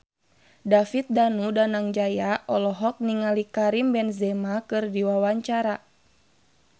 David Danu Danangjaya olohok ningali Karim Benzema keur diwawancara